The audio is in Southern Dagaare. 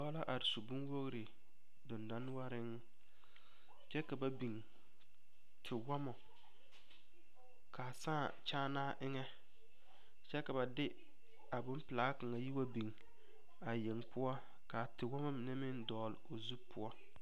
Pɔge la are su bonwogri dendɔnoɔreŋ kyɛ ka ba biŋ tewɔmɔ k,a sãã kyããnaa eŋɛ kyɛ ka ba de a bonpelaa kaŋa yi wa biŋ a yeŋ poɔ k,a tewɔmɔ mine meŋ dɔgle o zu poɔ.